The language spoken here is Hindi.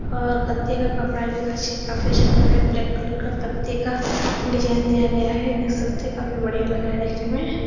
और गद्दे का कपड़ा काफी अच्छा लग रहा है। ब्लैक कलर के पत्ते का डिजाईन दिया गया है। काफी बढ़िया लग रहा है देखने मे।